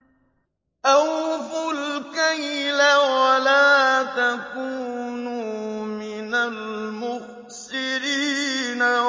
۞ أَوْفُوا الْكَيْلَ وَلَا تَكُونُوا مِنَ الْمُخْسِرِينَ